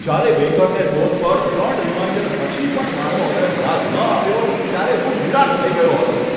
જ્યારે બેકરને ફોન પર ત્રણ રીમાઈન્ડર પછી પણ મારો ઓર્ડર યાદ ન આવ્યો ત્યારે હું નિરાશ થઈ ગયો હતો.